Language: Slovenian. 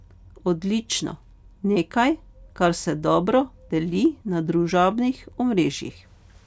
Odlično, nekaj, kar se dobro deli na družabnih omrežjih.